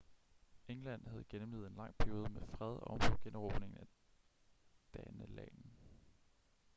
england havde gennemlevet en lang periode med fred ovenpå generobringen af danelagen